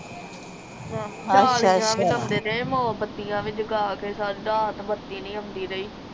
ਜਾਲੀਆਂ ਵੀ ਲਾਉਂਦੇ ਰਹੇ ਮੋਬਤੀਆਂ ਵੀ ਜਗਾ ਕੇ ਸਾਰੀ ਰਾਤ ਬਤੀ ਨੀ ਆਉਂਦੀ ਰਹੀ